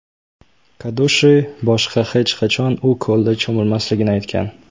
Kadushi boshqa hech qachon u ko‘lda cho‘milmasligini aytgan.